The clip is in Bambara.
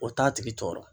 O t'a tigi tɔɔrɔ